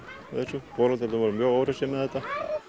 og foreldrarnir voru mjög óhressir með þetta